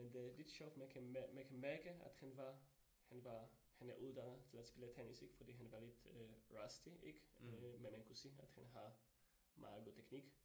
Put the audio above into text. Men det lidt sjovt for man kan man kan mærke, at han var han var, han er uddannet til at spille tennis ik fordi han var lidt øh rusty ik, øh men man kunne se, at han har meget god teknik